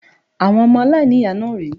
Àwọn ọmọ aláìníyàá náà rèé